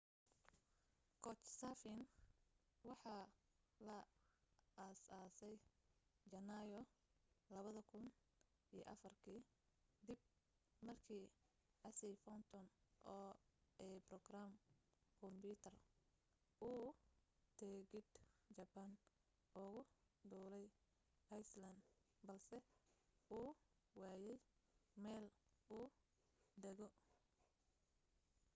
couchsurfing waxa la aasaasay jannaayo 2004 ka dib markii casey fenton oo aa barogaraamar kumbiyuutar uu tigidh jaban ugu duulay iceland balse uu waayay meel uu dego